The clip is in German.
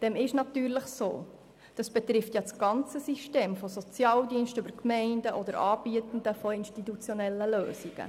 Dem ist natürlich so, denn diese betreffen das ganze System der Sozialdienste und auch die Gemeinden und Anbietenden von institutionellen Lösungen.